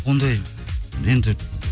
ондай енді